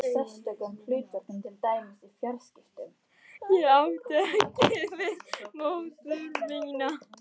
Ég átti ekki við móður mína.